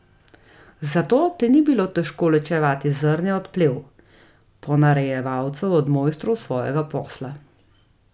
Zato ti ni bilo težko ločevati zrnja od plev, ponarejevalcev od mojstrov svojega posla.